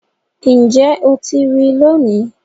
Níjẹ́ o tí rí lónì.